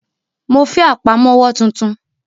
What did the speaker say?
Mo fẹ́ Àpámọ́wọ́ tuntun